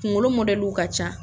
N kunkolo mɔdɛliw ka ca.